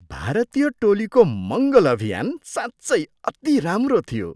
भारतीय टोलीको मङ्गल अभियान साँच्चै अति राम्रो थियो!